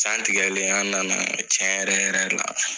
San tigɛlen, an nana tiɲɛ yɛrɛ yɛrɛ la.